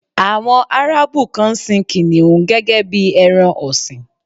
Àwọn Árábù kan ń sin kìnnìún gẹ́gẹ́ bí ẹran ọ̀sìn.